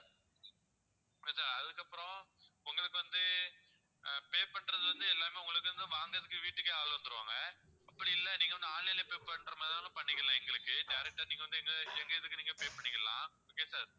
okay sir அதுக்கப்பறம் உங்களுக்கு வந்து அஹ் pay பண்றதுல இருந்து எல்லாமே உங்களுக்கு வந்து வாங்குறதுக்கு வீட்டுக்கே ஆளு வந்துடுவாங்க அப்படி இல்ல நீங்க வந்து online லயே pay பண்ற மாதிரி இருந்தாலும் பண்ணிக்கலாம் எங்களுக்கு direct ஆ நீங்க வந்து எங்க எங்க இதுக்கு நீங்க pay பண்ணிக்கலாம் okay sir